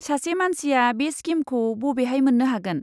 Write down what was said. सासे मानसिया बे स्किमखौ बबेहाय मोन्नो हागोन?